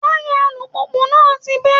Táyà alùpùpù náà ti bẹ́